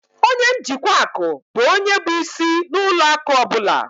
Ọnye njikwa akụ bụ ónyé bụ ịsị na ụlọ akụ ọbula